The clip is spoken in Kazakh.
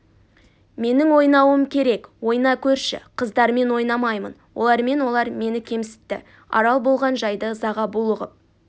менің ойнауым керек ойна көрші қыздармен ойнамаймын олармен олар мені кемсітті арал болған жайды ызаға булығып